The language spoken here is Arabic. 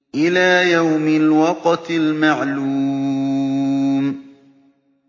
إِلَىٰ يَوْمِ الْوَقْتِ الْمَعْلُومِ